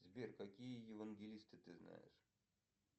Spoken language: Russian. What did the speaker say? сбер какие евангелисты ты знаешь